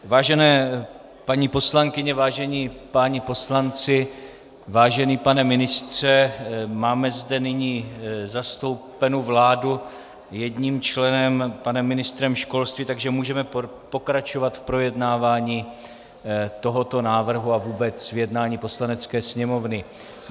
Vážené paní poslankyně, vážení páni poslanci, vážený pane ministře - máme zde nyní zastoupenu vládu jedním členem, panem ministrem školství, takže můžeme pokračovat v projednávání tohoto návrhu a vůbec v jednání Poslanecké sněmovny.